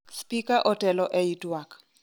Spika otelo ei twak